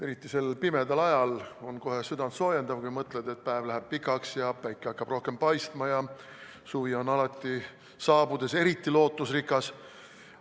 Eriti sel pimedal ajal on kohe südantsoojendav, kui mõtled, et päev läheb pikaks ja päike hakkab rohkem paistma, ja suvi on saabudes alati eriti lootusrikas.